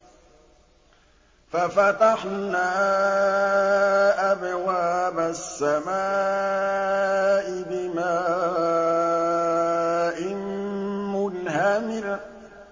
فَفَتَحْنَا أَبْوَابَ السَّمَاءِ بِمَاءٍ مُّنْهَمِرٍ